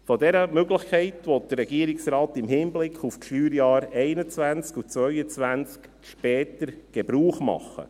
Von dieser Möglichkeit will der Regierungsrat im Hinblick auf die Steuerjahre 2021 und 2022 später Gebrauch machen.